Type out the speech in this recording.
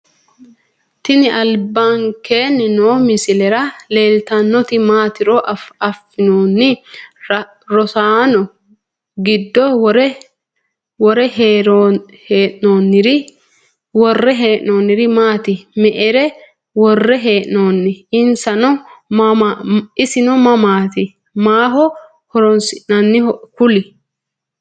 Tini albankeeni noo misilera leeltanoti maatiro afinooni rosaano giddo wore henoniri maati me`ere wore heenoni insano mamati maaho horonsinaniho kulle?